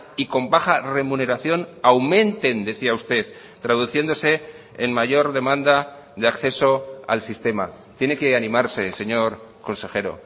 y con baja remuneración aumenten decía usted traduciéndose en mayor demanda de acceso al sistema tiene que animarse señor consejero